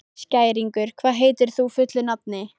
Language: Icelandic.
Skæringur, hvað heitir þú fullu nafni?